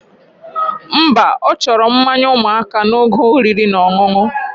Mba, ochoro mmanya umuaka na oge oriri na oṅụoṅụ